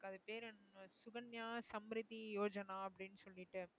அது பேர் என்ன சுகன்யா சம்பரிதி யோஜனா அப்படின்னு சொல்லிட்டு